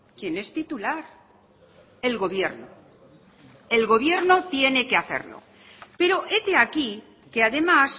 quien es titular el gobierno el gobierno tiene que hacerlo pero hete aquí que además